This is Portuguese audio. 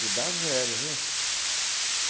Te dar zero, viu?